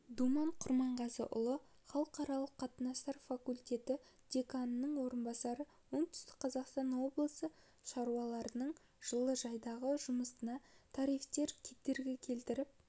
думан құрманғазыұлы халықаралық қатынастар факультеті деканының орынбасары оңтүстік қазақстан облысы шаруаларының жылыжайдағы жұмысына тарифтер кедергі келтіріп